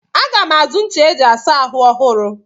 Aga m azụ ncha eji asa ahụ ọhụrụ.